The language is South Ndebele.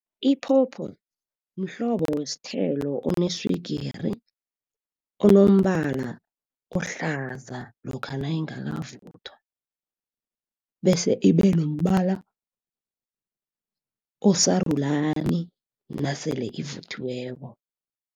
Iphopho mhlobo wesithelo oneswigiri, onombala ohlaza lokha nayingakavuthwa. Bese ibe nombala osarulani nasele ivuthiweko.